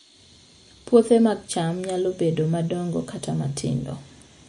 Puothe mag cham nyalo bedo madongo kata matindo